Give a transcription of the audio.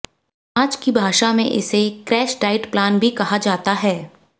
आज की भाषा में इसे क्रैश डाइट प्लान भी कहा जाता है